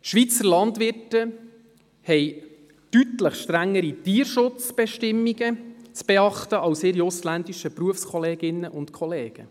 Die Schweizer Landwirte haben deutlich strengere Tierschutzbestimmungen zu beachten als ihre ausländischen Berufskolleginnen und -kollegen.